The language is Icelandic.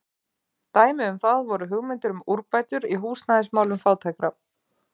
Dæmi um það voru hugmyndir um úrbætur í húsnæðismálum fátækra.